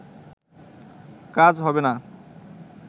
কাজ হবে না